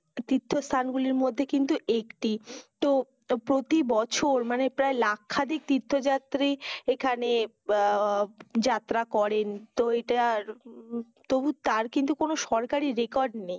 তীর্থস্থানগুলির মধ্যে কিন্তু একটি। তো প্রতি বছর মানে লাখখানেক তীর্থযাত্রী এখানে যাত্রা করেন। তো এটার তবু তার কিন্তু কোনো সরকারি record নেই।